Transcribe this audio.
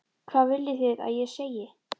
Hvað viljið þið að ég segi?